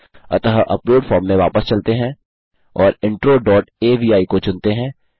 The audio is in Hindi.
अतः अपलोड फॉर्म में वापस चलते हैं और इंट्रो डॉट अवि को चुनते हैं